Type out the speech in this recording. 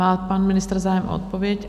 Má pan ministr zájem o odpověď?